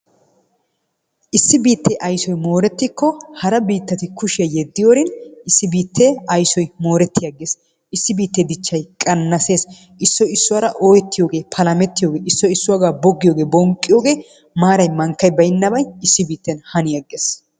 Issi biittee aysoy moorettikko hara biittati kushiya yeddiyorin issi biittee aysoy mooretti aggees. Issi biittee dichchay qannasees. Issoy issuwara ooyettiyogee, palamettiyogee, issoy issuwagaa boggiyogee, bonqqiyogee, maaray mankkay baynnabay issi biitten hani aggees.